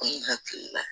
An hakili la